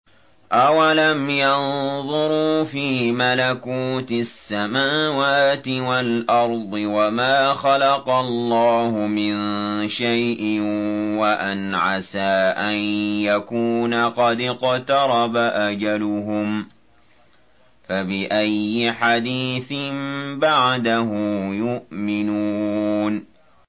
أَوَلَمْ يَنظُرُوا فِي مَلَكُوتِ السَّمَاوَاتِ وَالْأَرْضِ وَمَا خَلَقَ اللَّهُ مِن شَيْءٍ وَأَنْ عَسَىٰ أَن يَكُونَ قَدِ اقْتَرَبَ أَجَلُهُمْ ۖ فَبِأَيِّ حَدِيثٍ بَعْدَهُ يُؤْمِنُونَ